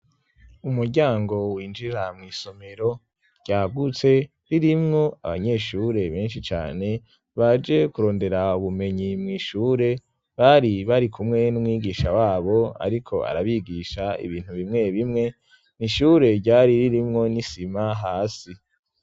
Umuryango winjira mw'isomero ryagutse ririmwo abanyeshure benshi cane baje kurondera ubumenyi mu ishure bari bari kumwe n'mwigisha wabo ariko arabigisha ibintu bimwe bimwe nishure ryari ririmwo n'isima hasi.